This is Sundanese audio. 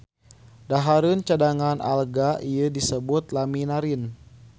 Dahareun cadangan alga ieu disebut laminarin.